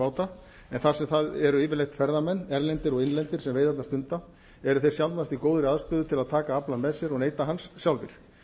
báta en það sem það eru yfirleitt ferðamenn erlendir og innlendir sem veiðarnar stunda eru þeir sjaldnast í góðri aðstöðu til að taka aflann með sér og neyta hans sjálfir